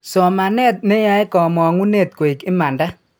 Somanet neyae kamong'unet koig imanda.